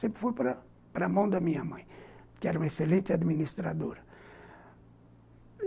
Sempre foi para para a mão da minha mãe, que era uma excelente administradora.